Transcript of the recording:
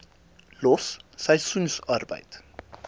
los seisoensarbeid